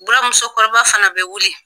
Bura muso kɔrɔba fana bɛ wuli